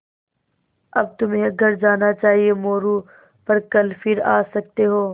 अब तुम्हें घर जाना चाहिये मोरू पर कल फिर आ सकते हो